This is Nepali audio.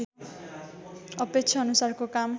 अपेक्षा अनुसारको काम